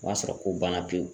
O y'a sɔrɔ ko banna pewu.